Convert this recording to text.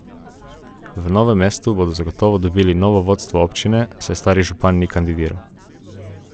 V Novem mestu bodo zagotovo dobili novo vodstvo občine, saj stari župan ni kandidiral.